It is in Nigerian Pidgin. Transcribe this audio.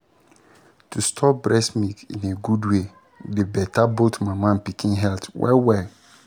to store breast milk in a good way dey better both mama and pikin health well-well